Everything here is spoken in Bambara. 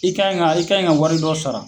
I kaɲi ka , i kaɲi ka wari dɔ sara.